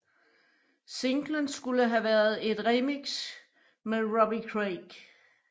Singlen skulle have været et remix med Robbie Craig